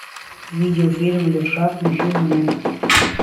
видеофильм левша включи мне